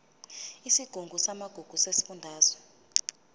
isigungu samagugu sesifundazwe